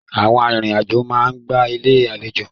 Àwọn arìnrìn-àjò máa ń gba Ilé-àlejò.